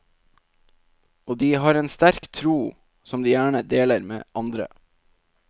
Og de har en sterk tro, som de gjerne deler med andre.